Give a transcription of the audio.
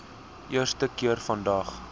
eerste keer vandag